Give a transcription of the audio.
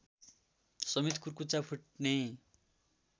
समेत कुर्कुच्चा फुट्ने